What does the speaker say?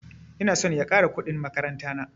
Ina son ya ƙara kuɗin makaranta na